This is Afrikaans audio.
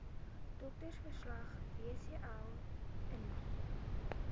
doktersverslag wcl indien